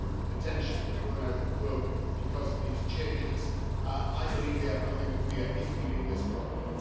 potentially, be thrown out of work because of these changes. I believe they have nothing to fear if we do this properly.